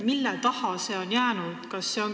Mille taha see on jäänud?